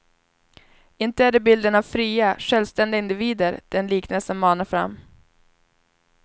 Inte är det bilden av fria, självständiga individer den liknelsen manar fram.